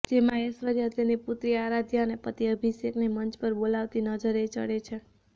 જેમાં ઐશ્વર્યા તેની પુત્રી આરાધ્યા અને પતિ અભિષેકને મંચ પર બોલાવતી નજરે ચડે છે